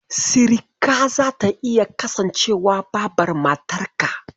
Sirika zata iya kasancewa Babar matarka.